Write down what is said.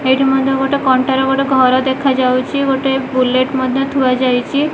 ଏଇଠି ମଧ୍ୟ ଗୋଟେ କଣ୍ଟାର ଗୋଟେ ଘର ଦେଖାଯାଉଚି ଗୋଟେ ବୁଲେଟ୍ ମଧ୍ୟ ଥୁଆଯାଇଚି ।